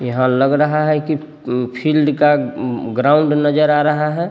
यहाँ लग रहा है की उम फील्ड का उम ग्राउंड नज़र आ रहा है।